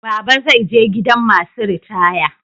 Baba zai je gidan masu ritaya.